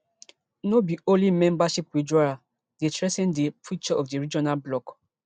no be only membership withdrawal dey threa ten di future of di regional bloc